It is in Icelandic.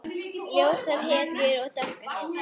Ljósar hetjur og dökkar hetjur.